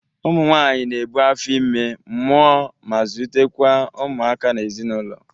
Ụmụ nwaanyị na-ebu afọ ime, mụa ma zulite kwa ụmụaka n'ezinaụlọ.